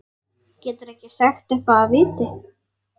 Geturðu ekki sagt eitthvað af viti?